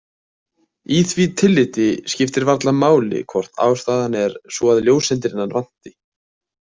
Í því tilliti skiptir varla máli hvort ástæðan er sú að ljóseindirnar vanti.